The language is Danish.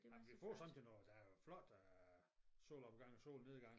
Ej men vi får sådan til noget der er flot øh solopgang og solnedang